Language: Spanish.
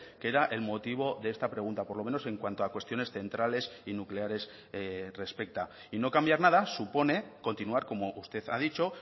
que era el motivo de esta pregunta por lo menos en cuanto a cuestiones centrales y nucleares respecta y no cambiar nada supone continuar como usted ha dicho